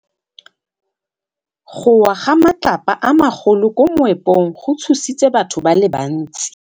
Go wa ga matlapa a magolo ko moepong go tshositse batho ba le bantsi.